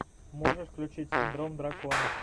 можешь включить синдром дракона